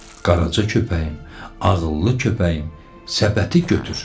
Qaraca köpəyim, ağıllı köpəyim, səbəti götür.